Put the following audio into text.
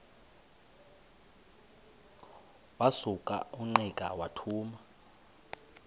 wasuka ungqika wathuma